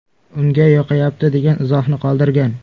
Unga yoqayapti” degan izohni qoldirgan.